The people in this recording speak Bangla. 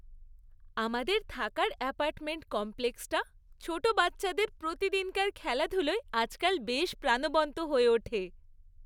আমাদের থাকার অ্যাপার্টমেন্ট কমপ্লেক্সটা ছোট বাচ্চাদের প্রতিদিনকার খেলাধুলোয় আজকাল বেশ প্রাণবন্ত হয়ে ওঠে।